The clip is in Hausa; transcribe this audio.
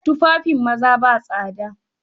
Tufafin maza ba tsada